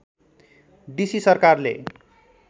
D C सरकारले